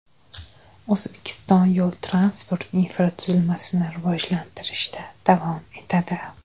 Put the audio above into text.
O‘zbekiston yo‘l-transport infratuzilmasini rivojlantirishda davom etadi.